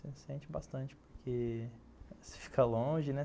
Sente bastante, porque você fica longe, né?